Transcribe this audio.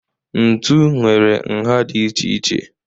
Ntu nwere nha dị iche iche.